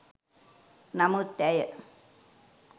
නමුත් ඇය